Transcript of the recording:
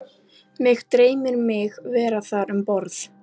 Mig dreymir mig vera þar um borð